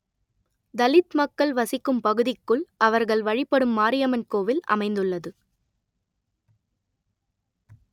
தலித் மக்கள் வசிக்கும் பகுதிக்குள் அவர்கள் வழிபடும் மாரியம்மன் கோவில் அமைந்துள்ளது